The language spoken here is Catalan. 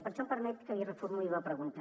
per això em permet que li reformuli la pregunta